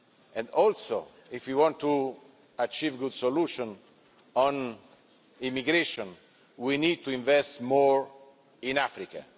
And also if we want to achieve a good solution on immigration we need to invest more in Africa.